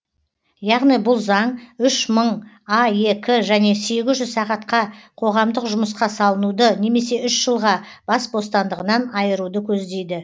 яғни бұл заң үш мың аек және сегіз жүз сағатқа қоғамдық жұмысқа салынуды немесе үш жылға бас бостандығынан айыруды көздейді